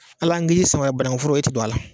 Hal'an k'i sama banakuforo e tɛ don a la,